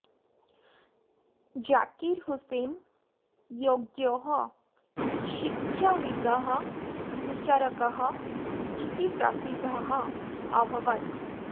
जाकिर हुसैन योग्यः शिक्षाविदः विचारकः इति प्रसिद्धः अभवत्